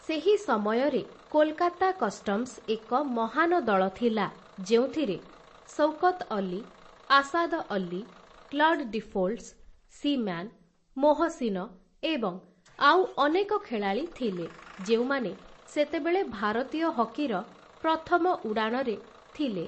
ସେହି ସମୟରେ କୋଲକାତା କଷ୍ଟମ୍ସ ଏକ ମହାନ ଦଳ ଥିଲା, ଯେଉଁଥିରେ Shaukat Ali, Asad Ali, Claude Deefholts, Seaman, Mohsin, ଏବଂ ଆଉ ଅନେକ ଖେଳାଳି ଥିଲେ, ଯେଉଁମାନେ ସେତେବେଳେ ଭାରତୀୟ ହକିର ପ୍ରଥମ ଉଡ଼ାଣରେ ଥିଲେ ।